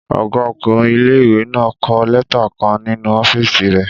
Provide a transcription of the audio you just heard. Ọgá ọkùnrin ilé-ìwé náà n kọ lẹ́tà kan nínu ọ́fìsì rẹ̀